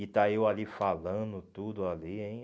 E está eu ali falando tudo ali, hein?